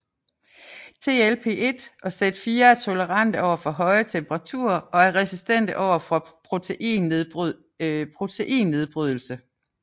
LTP1 og Z4 er tolerante over for høje temperaturer og er resistente over for proteinnedbrydelse